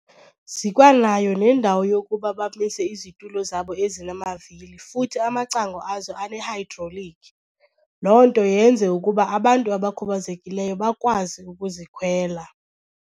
Zikwanayo nendawo yokuba bamise izitulo zabo ezinamavili futhi amacango azo anehayidrolikhi, loo nto yenze ukuba abantu abakhubazekileyo bakwazi ukuzikhwela.